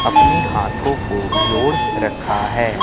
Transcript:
अपनी हाथों को जोड़ रखा है।